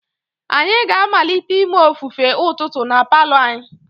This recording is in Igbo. Anyị ga-amalite ime ofufe ụtụtụ na palour anyi.